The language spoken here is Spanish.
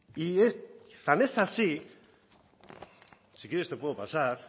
tan es así si quieres te puedo pasar